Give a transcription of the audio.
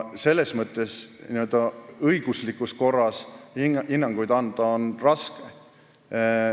Selles mõttes õiguslikus korras hinnanguid anda on raske.